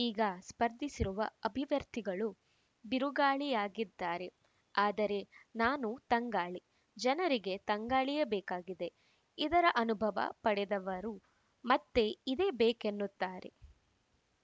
ಈಗ ಸ್ಪರ್ಧಿಸಿರುವ ಅಭಿವರ್ತಿಗಳು ಬಿರುಗಾಳಿಯಾಗಿದ್ದಾರೆ ಆದರೆ ನಾನು ತಂಗಾಳಿ ಜನರಿಗೆ ತಂಗಾಳಿಯೇ ಬೇಕಾಗಿದೆ ಇದರ ಅನುಭವ ಪಡೆದವರು ಮತ್ತೆ ಇದೇ ಬೇಕೆನ್ನುತ್ತಾರೆ